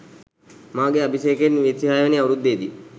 මාගේ අභිෂේකයෙන් විසිහයවැනි අවුරුද්දේ දී